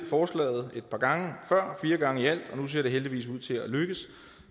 forslaget et par gange før fire gange i alt og nu ser det heldigvis ud til at lykkes